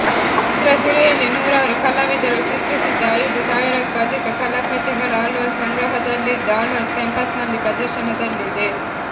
ಚಿತ್ರಸಿರಿಯಲ್ಲಿ ನೂರಾರು ಕಲಾವಿದರು ಚಿತ್ರಿಸಿದ ಐದು ಸಾವಿರಕ್ಕೂ ಅಧಿಕ ಕಲಾಕೃತಿಗಳು ಆಳ್ವಾಸ್ ಸಂಗ್ರಹದಲ್ಲಿದ್ದು ಆಳ್ವಾಸ್ ಕ್ಯಾಂಪಸ್ನಲ್ಲಿ ಪ್ರದರ್ಶನದಲ್ಲಿದೆ